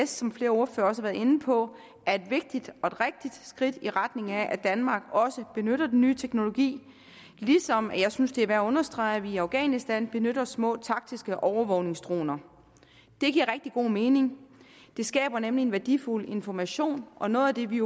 som flere ordførere også har været inde på er et vigtigt og et rigtigt skridt i retning af at danmark også benytter den nye teknologi ligesom jeg synes det er værd at understrege at vi i afghanistan benytter små taktiske overvågningsdroner det giver rigtig god mening det skaber nemlig en værdifuld information og noget af det vi